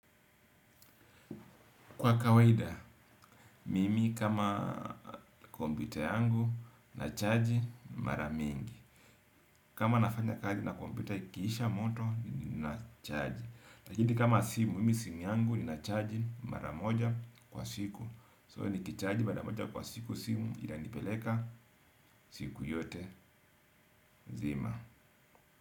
Kwa kawaida, mimi kama kompyuta yangu nachaji mara mingi. Kama nafanya kazi na kompyuta ikiisha moto ninachaji. Lakini kama simu, mimi simu yangu ninachaji mara moja kwa siku. So nikichaji mara moja kwa siku simu inanipeleka siku yote nzima.